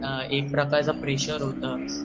एक प्रकारचे प्रेशर होत